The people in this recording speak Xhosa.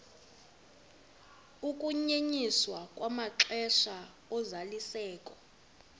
ukunyenyiswa kwamaxesha ozalisekiso